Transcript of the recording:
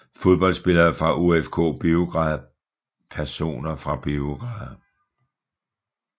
Fodboldspillere fra OFK Beograd Personer fra Beograd